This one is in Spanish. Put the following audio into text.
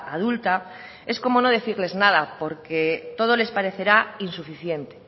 adulta es como no decirles nada porque todo les parecerá insuficiente